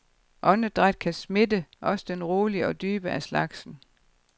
Åndedræt kan smitte, også den rolige og dybe af slagsen.